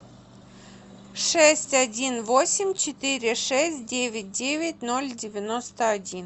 шесть один восемь четыре шесть девять девять ноль девяносто один